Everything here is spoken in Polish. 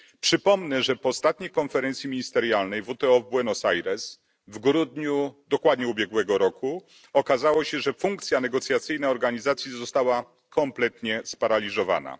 Przypomnę, że po ostatniej konferencji ministerialnej WTO w Buenos Aires w grudniu dokładnie ubiegłego roku okazało się, że funkcja negocjacyjna organizacji została kompletnie sparaliżowana.